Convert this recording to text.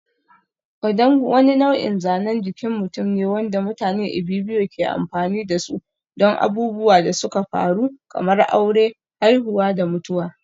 Odung wani nau'in zanen jikin mutum ne wanda mutanen Ibibio ke amfani da su don abubuwan da suka faru kamar aure, haihuwa da mutuwa.